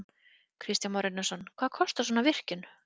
Kristján Már Unnarsson: Hvað kostar svona virkjun?